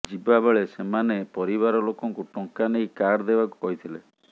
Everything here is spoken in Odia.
ଯିବା ବେଳେ ସେମାନେ ପରିବାର ଲୋକଙ୍କୁ ଟଙ୍କା ନେଇ କାର୍ ଦେବାକୁ କହିଥିଲେ